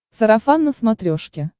сарафан на смотрешке